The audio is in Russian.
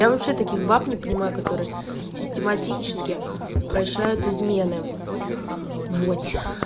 я вообще таких баб не понимаю которые систематически прощают измены вот